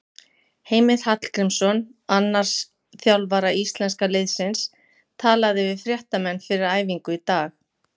Heimir Hallgrímsson, annars þjálfara íslenska liðsins, talaði við fréttamenn fyrir æfingu í dag.